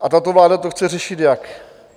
A tato vláda to chce řešit jak?